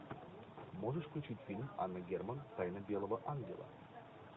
можешь включить фильм анны герман тайна белого ангела